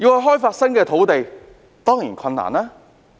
開發新的土地當然困難。